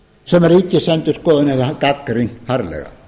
sem ríkisendurskoðun hefur gagnrýnt harðlega